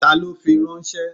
Ta ló fi ránṣẹ́?